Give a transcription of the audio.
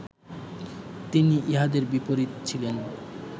তিনি ইহাদের বিপরীত ছিলেন